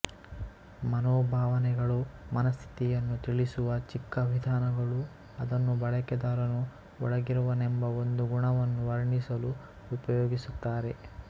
ಮನೋಭಾವನೆಗಳು ಮನಸ್ಥಿತಿಯನ್ನು ತಿಳಿಸುವ ಚಿಕ್ಕ ವಿಧಾನಗಳು ಅದನ್ನು ಬಳಕೆದಾರನು ಒಳಗಿರುವನೆಂಬ ಒಂದು ಗುಣವನ್ನು ವರ್ಣಿಸಲು ಉಪಯೋಗಿಸುತ್ತಾರೆ